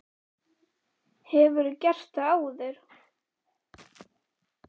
Erla Björg: Hefurðu gert það áður?